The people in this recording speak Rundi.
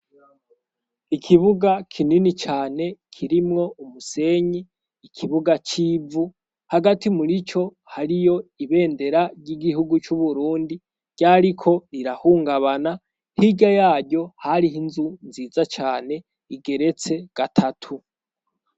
Ikibuga kinini cane kirimwo umusenyi, ikibuga c'ivu, hagati muri co hariyo ibendera ry'igihugu c' Uburundi ryariko rirahungabana, hirya yaryo hariho inzu nziza cane igeretse gatatu.